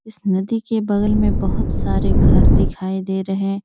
इस नदी के बगल में बहोत सारे घर दिखाई दे रहे--